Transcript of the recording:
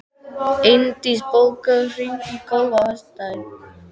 Eindís, bókaðu hring í golf á föstudaginn.